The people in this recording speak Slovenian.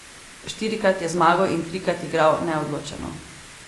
Štirikrat je zmagal in trikrat igral neodločeno.